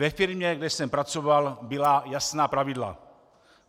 Ve firmě, kde jsem pracoval, byla jasná pravidla.